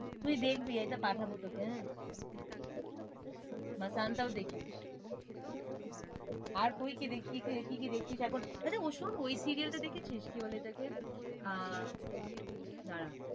তুই দেখবি এটা পাঠাবো তোকে হ্যাঁ masaan টাও দেখিস আর তুই কি কি কি দেখছিস এখন? আচ্ছা ওই শোন ওই serial টা দেখেছিস? কি বলে ওটাকে আহ দাঁড়া